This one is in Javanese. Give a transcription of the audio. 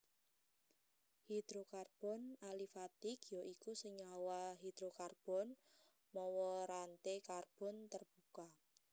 Hidrokarbon alifatik ya iku senyawa hidrokarbon mawa ranté karbon tarbuka